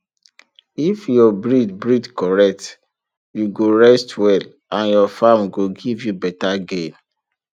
if your breed breed correct you go rest well and your farm go give you better gain